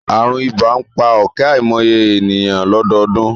Àrùn ibà ń pa ọ̀kẹ́ àìmọye ènìyàn lọ́dọọdún